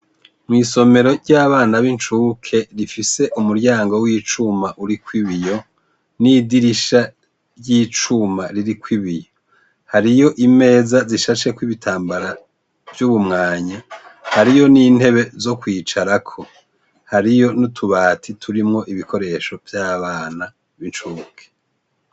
Mw'isomero ry'abana b'incuke rifise umuryango w'icuma uriko ibiyo, n'idirisha ry'icuma ririko ibiyo. Hariyo imeza zishasheko ibitambara vy'ubumwanya, hariyo n'intebe z'ukwicarako. Hariyo n'utubati turimwo ibikoresho vy'abana b'incuke.